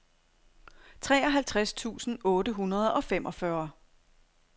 treoghalvtreds tusind otte hundrede og femogfyrre